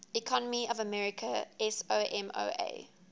economy of american samoa